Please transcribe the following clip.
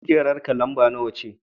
Kujerarka lamba nawa ce?